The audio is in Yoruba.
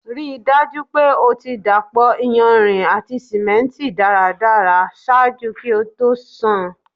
Rii daju pe o ti dapọ iyanrin ati simenti daradara ṣaaju ki o to ṣan